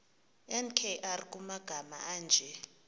nkr kumagama anje